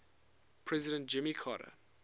president jimmy carter